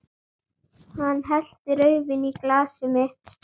Hann hellti rauðvíni í glasið mitt.